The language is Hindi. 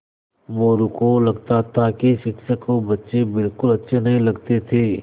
मोरू को लगता था कि शिक्षक को बच्चे बिलकुल अच्छे नहीं लगते थे